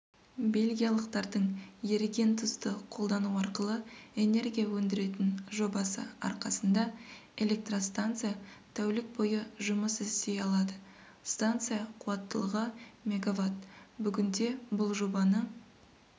бельгиялықтардың еріген тұзды қолдану арқылы энергия өндіретін жобасы арқасында электростанция тәулік бойы жұмыс істей алады станция қуаттылығы мегаватт бүгінде бұл жобаны